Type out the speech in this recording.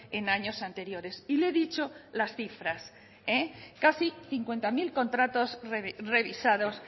en años anteriores y le he dicho las cifras casi cincuenta mil contratos revisados